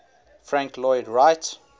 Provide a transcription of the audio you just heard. frank lloyd wright